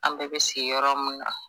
An bɛɛ bɛ si yɔrɔ min na